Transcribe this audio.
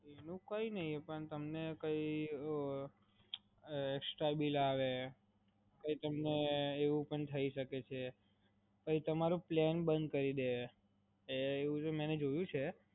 Bill નું કાઇ નહીં પણ તમને કાઇ એકસ્ટ્રા બિલ આવે, કાઇ તમને એવું પણ થય શકે છે. એ તમારો પ્લાન બંધ કરી દે, એવું મી જોયું છે.